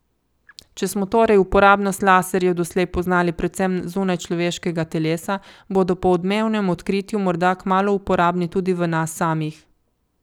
Če smo torej uporabnost laserjev doslej poznali predvsem zunaj človeškega telesa, bodo po odmevnem odkritju morda kmalu uporabni tudi v nas samih.